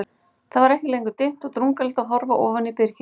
Það var ekki lengur dimmt og drungalegt að horfa ofan í byrgið.